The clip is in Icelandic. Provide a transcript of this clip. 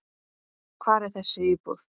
Hvar er þessi íbúð?